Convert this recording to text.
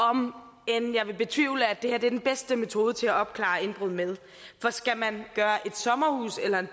om end jeg betvivler at det er den bedste metode til at opklare indbrud med for skal man gøre et sommerhus eller en